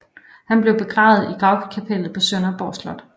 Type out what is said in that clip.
Han blev begravet i Gravkapellet på Sønderborg Slot